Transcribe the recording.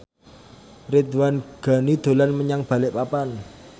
Ridwan Ghani dolan menyang Balikpapan